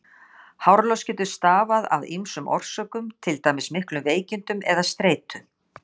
Hárlos getur stafað af ýmsum orsökum, til dæmis miklum veikindum eða streitu.